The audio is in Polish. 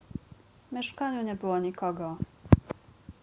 w mieszkaniu nie było nikogo